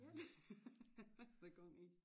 Ja der kom en